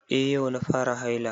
Eh yau na fara haila